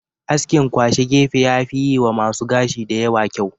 Askin kwashe gefe yafi yiwa masu gashi da yawa kyau.